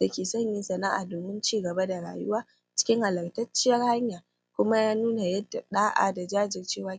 dake sanya sana'a domin cigaba da rayuwa cikin halattacciyar hanya kuma ya nuna yanda ɗa'a da jajircewa